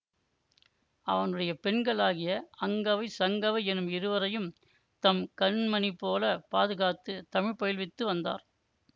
அவனுடைய பெண்களாகிய அங்கவைசங்கவை என்னும் இருவரையும் தம் கண்மணிபோலப் பாதுகாத்துத் தமிழ் பயில்வித்து வந்தார்